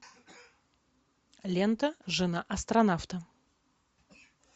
лента жена астронавта